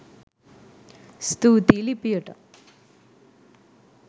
ස්තුතියි ලිපියට